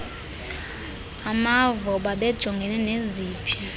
bamavo babejongene neziphi